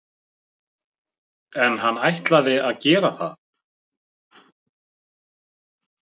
En ætlaði hann að gera það?